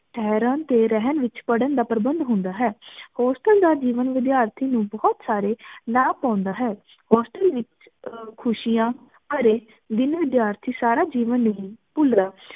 ਠੇਹ੍ਰਾਂ ਤੇ ਰਹਨ ਵਿਚ ਪੜਣ ਦਾ ਪ੍ਰਬੰਧ ਹੁੰਦਾ ਹੈ hostel ਦਾ ਜੀਵਨ ਵਿਦਿਆਰਥੀ ਨੂੰ ਬੋਹਤ ਸਾਰੀ ਆਉਂਦਾ ਹੈ hostel ਵਿਚ ਖੁਸ਼ਿਯਾਂ ਭਰੇ ਦਿਨ ਵਿਦਿਆਰਥੀ ਸਾਰਾ ਜੀਵਨ ਨਹੀ ਭੁਲਦਾ